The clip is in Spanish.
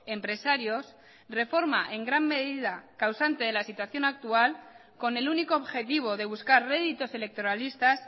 empresarios reforma en gran medida causante de la situación actual con el único objetivo de buscar réditos electoralistas